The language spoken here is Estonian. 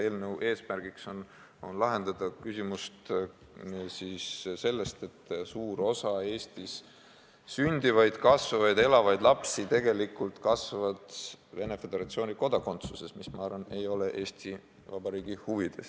Eelnõu eesmärk on lahendada probleem, et suur osa Eestis sündivaid, kasvavaid, elavaid lapsi tegelikult kasvavad Venemaa Föderatsiooni kodanikena, mis, ma arvan, ei ole Eesti Vabariigi huvides.